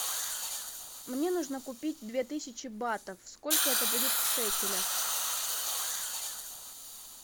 мне нужно купить две тысячи батов сколько это будет в шекелях